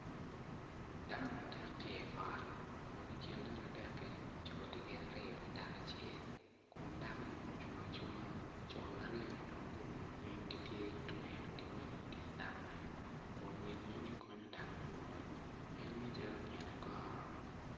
Dao adek gitye i ot, i kin dano adek ki tye co aryo ki dako acel, dakoni ocung acunga kun co-ni gitye ka tweyo gin moni.